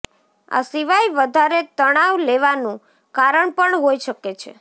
આ સિવાય વધારે તણાવ લેવાનું કારણ પણ હોઈ શકે છે